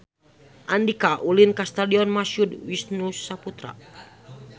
Andika ulin ka Stadion Mashud Wisnusaputra